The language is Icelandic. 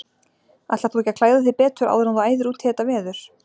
Ætlar þú ekki klæða þig betur áður en þú æðir út í þetta veður?